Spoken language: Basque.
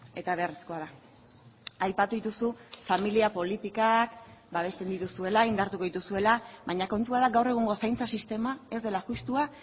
eta beharrezkoa da aipatu dituzu familia politikak babesten dituzuela indartuko dituzuela baina kontua da gaur egungo zaintza sistema ez dela justua